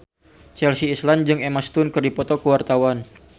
Chelsea Islan jeung Emma Stone keur dipoto ku wartawan